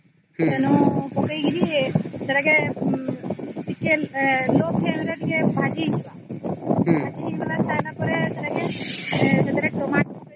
ତେଣୁ ପକେଇକିରି ସେଟା କୁ low flame ରେ ଟିକେ ଭାଜି ଦେବା ସେଟାକେ ସେଥିରେ Tamato